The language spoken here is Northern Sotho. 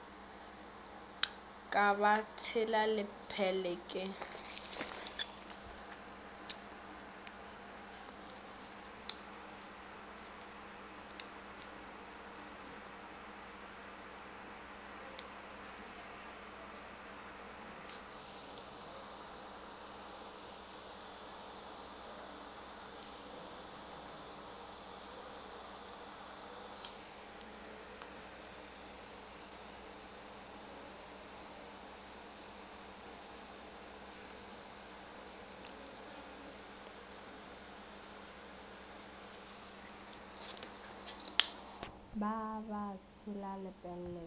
ka ba tshela lepelle ke